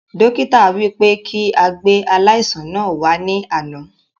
Dókítà wí pé kí a gbé aláìsàn náà wà ní àná